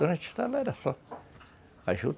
Durante era só, a juta.